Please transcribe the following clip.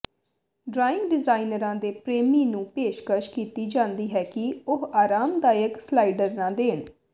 drawing ਡਿਜ਼ਾਈਨਰਾਂ ਦੇ ਪ੍ਰੇਮੀ ਨੂੰ ਪੇਸ਼ਕਸ਼ ਕੀਤੀ ਜਾਂਦੀ ਹੈ ਕਿ ਉਹ ਆਰਾਮਦਾਇਕ ਸਲਾਈਡਰ ਨਾ ਦੇਣ